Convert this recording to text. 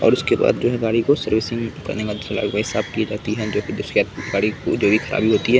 और उसके बाद जो है गाड़ी को सर्विसिंग करने के बाद जो साफ की जाती है जो कि जिसके गाड़ी की जो भी खराबी होती है।